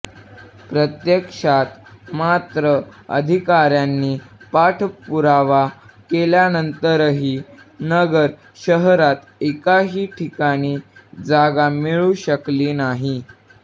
प्रत्यक्षात मात्र अधिकाऱ्यांनी पाठपुरावा केल्यानंतरही नगर शहरात एकाही ठिकाणी जागा मिळू शकली नाही